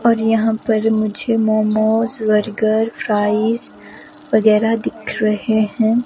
और यहां पर मुझे मोमोज बर्गर फ्राइस वगैरह दिख रहे हैं।